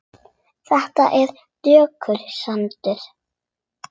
Þetta er dökkur sandur.